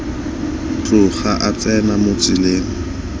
tloga a tsena mo tseleng